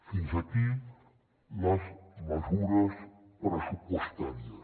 fins aquí les mesures pressupostàries